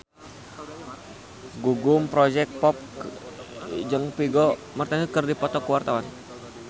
Gugum Project Pop jeung Vigo Mortensen keur dipoto ku wartawan